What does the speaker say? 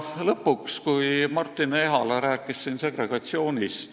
Lõpuks, Martin Ehala rääkis täna segregatsioonist.